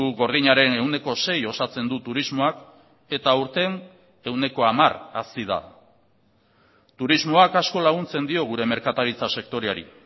gordinaren ehuneko sei osatzen du turismoak eta aurten ehuneko hamar hazi da turismoak asko laguntzen dio gure merkataritza sektoreari